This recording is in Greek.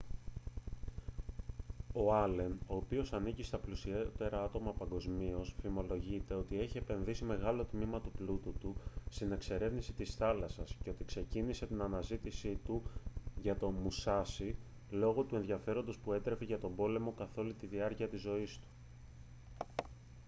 ο άλεν ο οποίος ανήκει στα πλουσιότερα άτομα παγκοσμίως φημολογείται ότι έχει επενδύσει μεγάλο τμήμα του πλούτου του στην εξερεύνηση της θάλασσας και ότι ξεκίνησε την αναζήτησή του για το μουσάσι λόγω του ενδιαφέροντος που έτρεφε για τον πόλεμο καθ' όλη τη διάρκεια της ζωής του